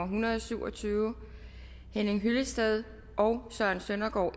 hundrede og syv og tyve henning hyllested og søren søndergaard